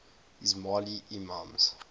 ismaili imams